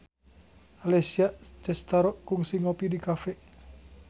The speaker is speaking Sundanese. Alessia Cestaro kungsi ngopi di cafe